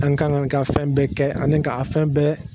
An ka kan ka fɛn bɛɛ kɛ ani ka fɛn bɛɛ.